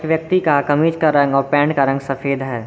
व्यक्ति का कमीज का रंग और पैंट का रंग सफेद है।